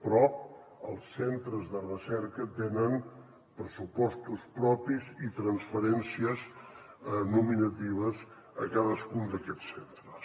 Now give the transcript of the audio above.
però els centres de recerca tenen pressupostos propis i transferències nominatives a cadascun d’aquests centres